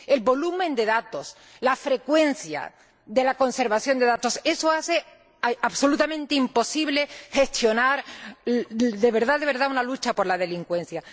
El volumen de datos, la frecuencia de la conservación de datos, eso hace absolutamente imposible gestionar de verdad una lucha contra la delincuencia.